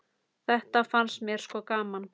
Þetta fannst mér sko gaman.